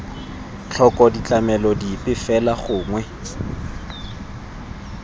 tlhoko ditlamelo dipe fela gongwe